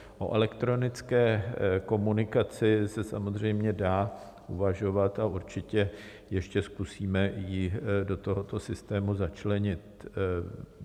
O elektronické komunikaci se samozřejmě dá uvažovat a určitě ještě zkusíme ji do tohoto systému začlenit.